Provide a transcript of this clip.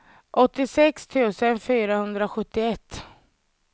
åttiosex tusen fyrahundrasjuttioett